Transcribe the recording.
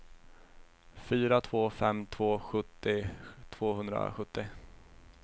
fyra två fem två sjuttio tvåhundrasjuttio